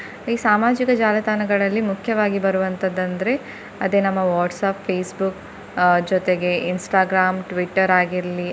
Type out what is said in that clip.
ಈ ಸಾಮಾಜಿಕ ಜಾಲತಾಣಗಳಲ್ಲಿ ಮುಖ್ಯವಾಗಿ ಬರುವಂತದಂದ್ರೆ ಅದೇ ನಮ್ಮ WhatsApp, Facebook ಅಹ್ ಜೊತೆಗೆ Instagram, Twitter ಆಗಿರ್ಲಿ.